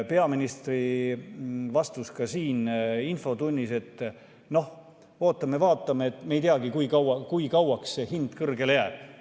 Peaminister vastas siin infotunnis, et noh, me ootame-vaatame, me ei teagi, kui kauaks see hind kõrgele jääb.